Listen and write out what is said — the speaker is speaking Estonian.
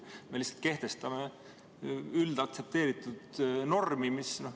Me lihtsalt kehtestame üldaktsepteeritud normi.